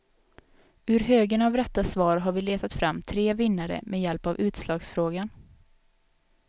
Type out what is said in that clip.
Ur högen av rätta svar har vi letat fram tre vinnare med hjälp av utslagsfrågan.